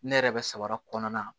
Ne yɛrɛ bɛ samara kɔnɔna na